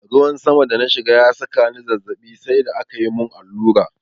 Ruwan saman da na shiga ya saka ni zazzaɓi sai da akayi mun allura.